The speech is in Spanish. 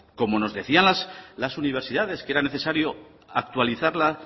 como nos decían las universidades que era necesario actualizarla